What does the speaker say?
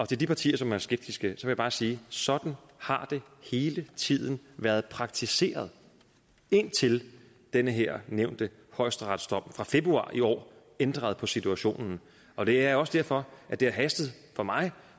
til de partier som er skeptiske vil jeg bare sige at sådan har det hele tiden været praktiseret indtil den her nævnte højesteretsdom fra februar i år ændrede på situationen og det er også derfor at det har hastet for mig